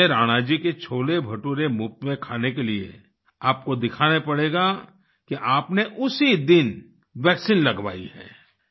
संजय राणा जी के छोलेभटूरे मुफ़्त में खाने के लिए आपको दिखाना पड़ेगा कि आपने उसी दिन वैक्सीन लगवाई है